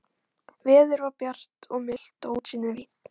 Veður var bjart og milt og útsýnin víð.